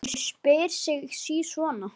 Maður spyr sig sí svona.